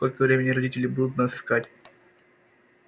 сколько времени родители будут нас искать